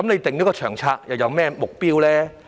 訂下《長策》又有何目標？